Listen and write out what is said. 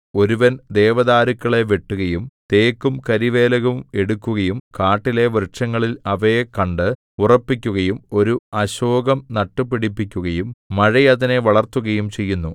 ഒരുവൻ ദേവദാരുക്കളെ വെട്ടുകയും തേക്കും കരിവേലവും എടുക്കുകയും കാട്ടിലെ വൃക്ഷങ്ങളിൽ അവയെ കണ്ട് ഉറപ്പിക്കുകയും ഒരു അശോകം നട്ടുപിടിപ്പിക്കുകയും മഴ അതിനെ വളർത്തുകയും ചെയ്യുന്നു